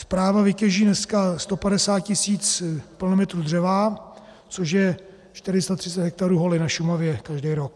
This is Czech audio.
Správa vytěží dneska 150 tisíc plnometrů dřeva, což je 430 hektarů holin na Šumavě každý rok.